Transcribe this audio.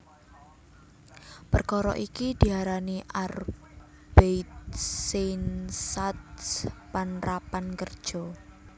Perkara iki diarani Arbeitseinsatz panrapan kerja